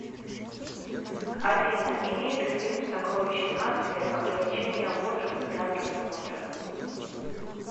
афина имеет ли фильм сокровища нации ограничения возраста для просмотра